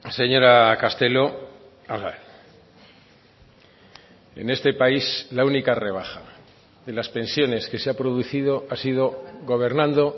señora castelo en este país la única rebaja de las pensiones que se ha producido ha sido gobernando